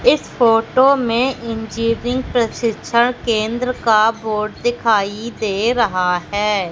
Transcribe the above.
इस फोटो में इन्जिनियरिंग प्रशिक्षण केन्द्र का बोर्ड दिखाई दे रहा है।